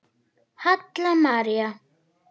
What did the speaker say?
Halla María.